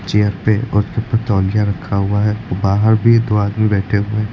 chair पे और सिर पर तौलिया रखा हुआ है और बाहर भी दो आदमी बैठे हुए--